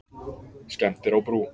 Skemmdir á brú